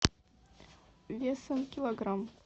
весом килограмм